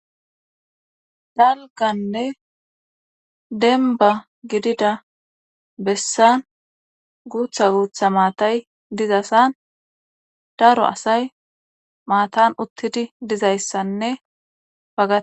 dalganne denba gidida bessan guutha guutha maatay dizasan daro asay maatan uttidi dizayssanne pagga